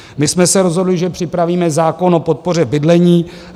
My jsme se rozhodli, že připravíme zákon o podpoře bydlení.